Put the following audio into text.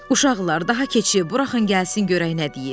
Uşaqlar, daha keçib buraxın gəlsin görək nə deyir.